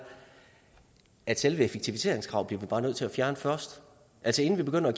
at selve effektiviseringskravet bliver vi bare nødt til at fjerne først altså inden vi begynder at